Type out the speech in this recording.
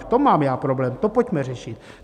V tom mám já problém, to pojďme řešit!